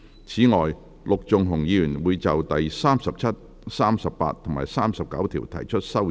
此外，陸頌雄議員會就第37、38及39條提出修正案。